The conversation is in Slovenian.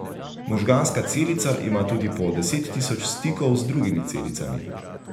Možganska celica ima tudi po deset tisoč stikov z drugimi celicami.